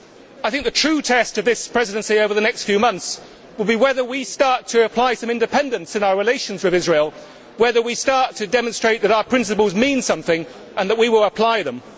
I think the true test of this Presidency over the next few months will be whether we start to apply some independence in our relations with Israel, and whether we start to demonstrate that our principles mean something and that we will apply them.